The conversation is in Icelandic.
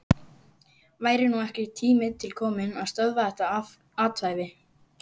Væri nú ekki tími til kominn að stöðva þetta athæfi?